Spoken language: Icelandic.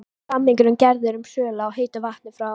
Samningur gerður um sölu á heitu vatni frá